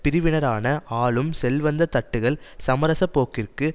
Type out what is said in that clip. பிரிவினரான ஆளும் செல்வந்த தட்டுகள் சமசரப்போக்கிற்கு